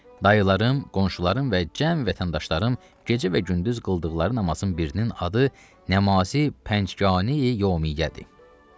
Dayılarım, qonşularım və cəm vətəndaşlarım gecə və gündüz qıldıqları namazın birinin adı Nəmase, Pəncgani Yovmiyyədir.